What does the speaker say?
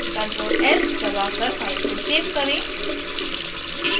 ctrl s दबाकर file को save करें